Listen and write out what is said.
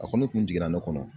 A kɔni kun jiginna ne kɔnɔ.